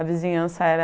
A vizinhança era...